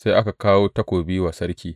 Sai aka kawo takobi wa sarki.